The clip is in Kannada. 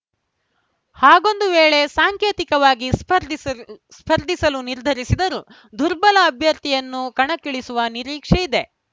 ಹಾಗೊಂದು ವೇಳೆ ಸಾಂಕೇತಿಕವಾಗಿ ಸ್ಪರ್ಧಿಸಲ್ ಸ್ಪರ್ಧಿಸಲು ನಿರ್ಧರಿಸಿದರೂ ದುರ್ಬಲ ಅಭ್ಯರ್ಥಿಯನ್ನು ಕಣಕ್ಕಿಳಿಸುವ ನಿರೀಕ್ಷೆಯಿದೆ